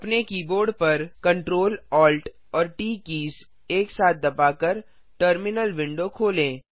अपने कीबोर्ड पर Ctrl Alt और ट कीज़ एक साथ दबा कर टर्मिनल विंडो खोलें